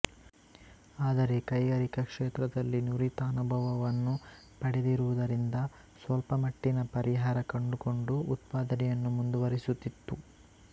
ಆದರೆ ಕೈಗಾರಿಕಾ ಕ್ಷೇತ್ರದಲ್ಲಿ ನುರಿತ ಅನುಭವವನ್ನು ಪಡೆದಿರುವುದರಿಂದ ಸ್ವಲ್ಪ ಮಟ್ಟಿನ ಪರಿಹಾರ ಕಂಡುಕೊಂಡು ಉತ್ಪಾದನೆಯನ್ನು ಮುಂದುವರಿಸುತ್ತಿತ್ತು